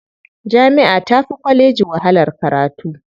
Jami'a tafi kwalleji wahalar karatu.